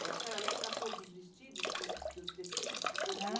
E a senhora lembra a cor dos vestidos, dos tecidos que correram?